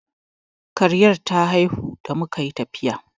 Kariyar ta haihu da muka yi tafiya.